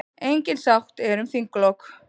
Engin sátt er um þinglok.